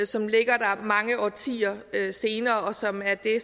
så ligger der mange årtier senere og som er det